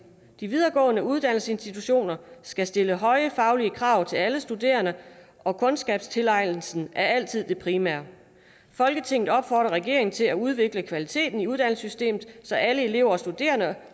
de videregående uddannelsesinstitutioner skal stille høje faglige krav til alle studerende og kundskabstilegnelsen er altid det primære folketinget opfordrer regeringen til at udvikle kvaliteten i uddannelsessystemet så alle elever og studerende